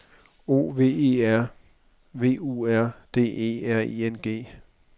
O V E R V U R D E R I N G